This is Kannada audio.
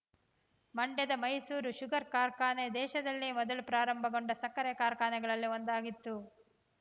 ಮಂಡ್ಯದ ಮೈಸೂರು ಶುಗರ್ ಕಾರ್ಖಾನೆ ದೇಶದಲ್ಲೇ ಮೊದಲು ಪ್ರಾರಂಭಗೊಂಡ ಸಕ್ಕರೆ ಕಾರ್ಖಾನೆಗಳಲ್ಲಿ ಒಂದಾಗಿದ್ದು